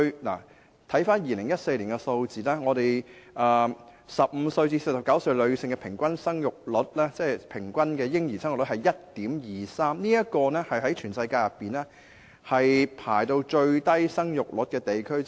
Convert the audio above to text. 根據2014年的數字 ，15 至49歲女性的嬰兒生育率平均是 1.23 名，屬全世界其中一個生育率最低的地區。